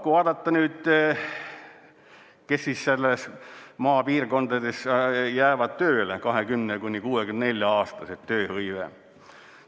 Kui vaadata nüüd, kes siis maapiirkondades jäävad tööle, 20–64-aastased, tööhõive.